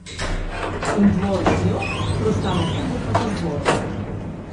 In dvor z njo, preostala publika pa z dvorom.